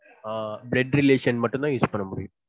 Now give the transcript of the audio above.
ஆஹ் blood relation மட்டும் தான் use முடியும்